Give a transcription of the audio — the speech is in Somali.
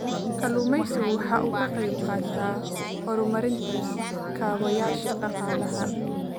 Kalluumaysigu waxa uu ka qayb qaataa horumarinta kaabayaasha dhaqaalaha.